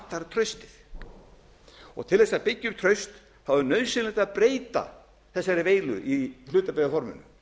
vantar traustið til þess að byggja upp traust er nauðsynlegt að breyta þessari veilu í hlutabréfaforminu